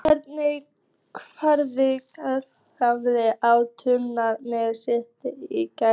En hvernig hefði geimfari á tunglinu séð myrkvann í gær?